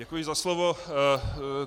Děkuji za slovo.